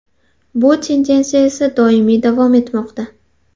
Bu tendensiya esa doimiy davom etmoqda.